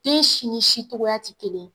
Den si ni si cogoya tɛ kelen ye